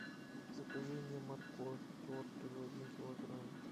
закажи мне морковь тертую один килограмм